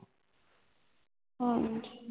ਹਾਂਜੀ